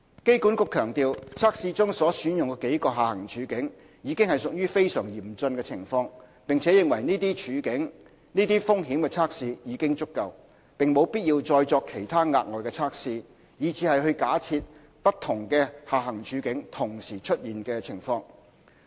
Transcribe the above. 機管局強調，測試中所選用的幾個下行處境，已屬非常嚴峻的情況，並認為這些風險測試已經足夠，無必要再作其他額外的測試，去假設不同的下行處境同時出現的情況。